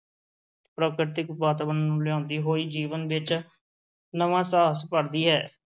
ਪ੍ਰਕਿਰਤਿਕ ਵਾਤਾਵਰਨ ਨੂੰ ਲਿਆਉਂਦੀ ਹੋਈ ਜੀਵਨ ਵਿੱਚ ਨਵਾਂ ਸਾਹਸ ਭਰਦੀ ਹੈ।